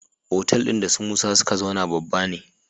Otal din da su musa suka zauna babba ne